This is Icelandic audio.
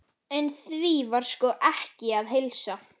En því var sko ekki að heilsa.